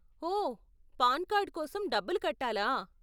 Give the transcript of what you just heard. ఓ, PAN card కోసం డబ్బులు కట్టాలా?